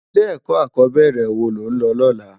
Ilè èkò ákòbèrè wó ló n lò lòlá?